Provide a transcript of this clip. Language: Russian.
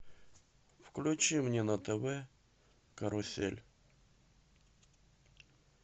включи мне на тв карусель